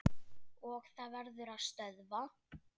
Og það verður að stöðva.